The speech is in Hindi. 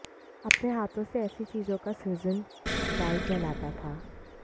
अपने हाथों से ऐसी चीजों का सृजन डाइ कहलाता था